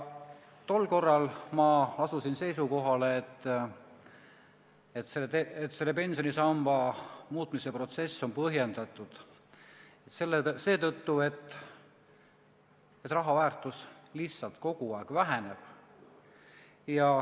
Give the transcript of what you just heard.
Tol korral ma asusin seisukohale, et selle pensionisamba muutmise protsess on põhjendatud seetõttu, et raha väärtus lihtsalt kogu aeg väheneb.